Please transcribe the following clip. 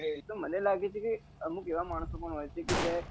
તો મને લાગે છે કે અમુક એવા માણસો પણ હોય છે કે જ્યાં